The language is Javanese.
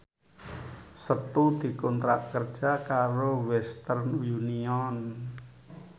Setu dikontrak kerja karo Western Union